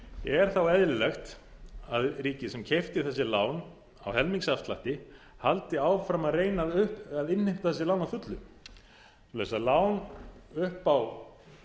er þá eðlilegt að ríkið sem keypti þessi lán á helmings afslætti haldi áfram að reyna að innheimta þessi lán að fullu vegna þess að lán segjum upp á